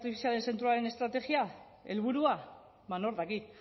artifizialaren zentroaren estrategia helburua ba nork daki